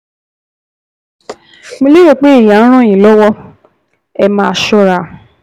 Mo lérò pé èyí á ràn yín lọ́wọ́! Ẹ máa ṣọ́ra!